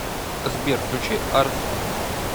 сбер включи арслан